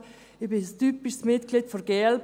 Ich bin ein typisches Mitglied der glp.